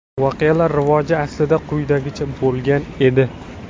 Voqealar rivoji aslida quyidagicha bo‘lgan edi.